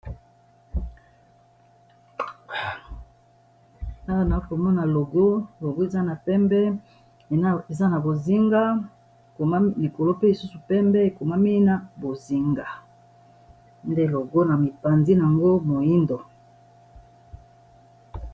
Awa naokomona logo logo eza na pembe eza na bozinga koma likolo pe lisusu pembe ekomami na bozinga nde logo na mipandi yango moindo